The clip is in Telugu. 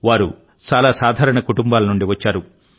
వారు చాలా సాధారణ కుటుంబాల నుండి వచ్చారు